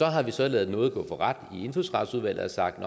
har så ladet nåde gå for ret i indfødsretsudvalget og sagt